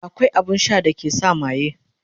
akwai abun Sha da ke sa maye